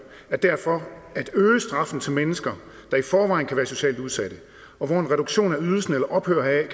derfor at øge straffen til mennesker der i forvejen kan være socialt udsatte og hvor en reduktion af ydelsen eller ophør